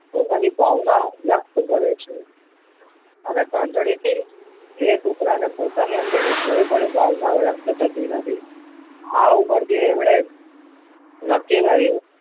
પોતાની ભાવના વ્યક્ત કરે છે હવે ઘંટડી થી એ કુતરા ને પોતાની અંદર ની કોઈ પણ ભાવના વ્યક્ત થતી નથી આ ઉપર થી એમને નક્કી કર્યું